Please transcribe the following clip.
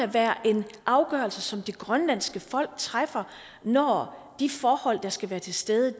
være en afgørelse som det grønlandske folk træffer når de forhold der skal være til stede